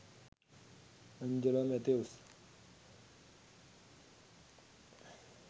Angelo Mathews